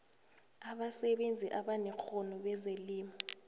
abasebenzi abanekghono bezelimo